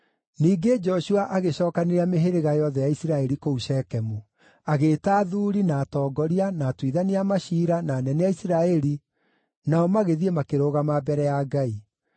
Ningĩ Joshua agĩcookanĩrĩria mĩhĩrĩga yothe ya Isiraeli kũu Shekemu. Agĩĩta athuuri, na atongoria, na atuithania a maciira, na anene a Isiraeli, nao magĩthiĩ makĩrũgama mbere ya Ngai.